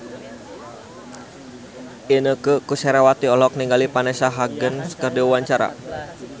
Inneke Koesherawati olohok ningali Vanessa Hudgens keur diwawancara